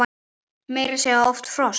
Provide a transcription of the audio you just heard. Meira að segja oft frost!